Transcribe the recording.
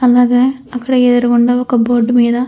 అలాగే అక్కడ ఎదురుగా ఉన్న బోర్డు మీద --